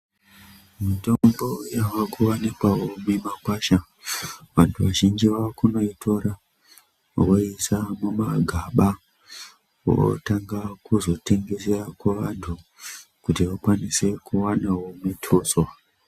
Mitombo yavakuwanikwao mumikwasha vanthu vazhinji vaakunoitora voiise mumagaba votqnga kuzotengeserq kuvanthu kuti vakwanise kuwanao mutuso.